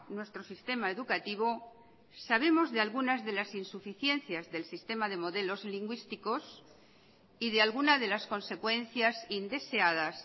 nuestro sistema educativo sabemos de algunas de las insuficiencias del sistema de modelos lingüísticos y de alguna de las consecuencias indeseadas